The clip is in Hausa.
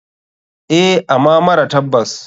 Eh ama mara tabbas.